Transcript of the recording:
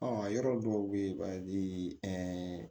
yɔrɔ dɔw bɛ ye a bɛ